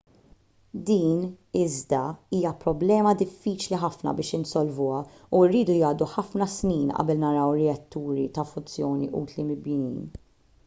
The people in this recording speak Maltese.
din iżda hija problema diffiċli ħafna biex insolvuha u jridu jgħaddu ħafna snin qabel naraw reatturi ta' fużjoni utli mibnijin